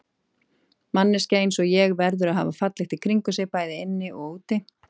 Manneskja einsog ég verður að hafa fallegt í kringum sig, bæði inni og úti.